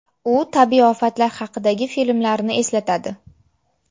U tabiiy ofatlar haqidagi filmlarni eslatadi.